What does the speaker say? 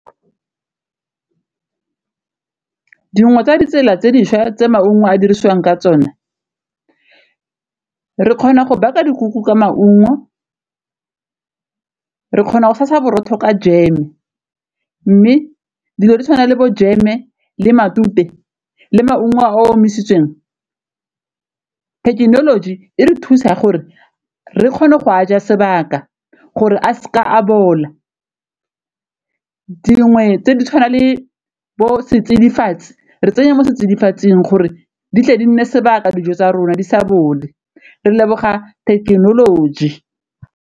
Dingwe tsa ditsela tse dišwa tse maungo a dirisiwang ka tsone re kgona go baka dikuku ka maungo, re kgona go sa sa borotho ka jeme, mme dilo di tshwana le bo jeme le matute le maungo a a omisitsweng technology e re thusa gore re kgone go a ja sebaka gore a seke a bola, dingwe tse di tshwana le bo setsidifatsi re tsenya mo setsidifatsing gore di tle di nne sebaka dijo tsa rona di sa bole re leboga thekenoloji.